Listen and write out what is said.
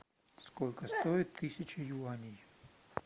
сколько стоит тысяча юаней